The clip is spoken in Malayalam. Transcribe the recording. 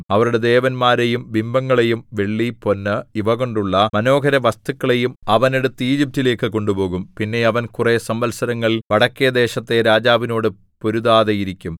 അവരുടെ ദേവന്മാരെയും ബിംബങ്ങളെയും വെള്ളി പൊന്ന് ഇവ കൊണ്ടുള്ള മനോഹരവസ്തുക്കളെയും അവൻ എടുത്ത് ഈജിപ്റ്റിലേക്ക് കൊണ്ടുപോകും പിന്നെ അവൻ കുറെ സംവത്സരങ്ങൾ വടക്കെദേശത്തെ രാജാവിനോട് പൊരുതാതെയിരിക്കും